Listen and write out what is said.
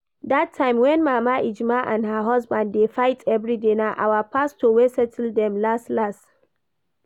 Dat time when mama Ejima and her husband dey fight everyday, na our pastor wey settle dem las las